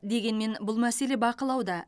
дегенмен бұл мәселе бақылауда